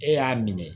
E y'a minɛ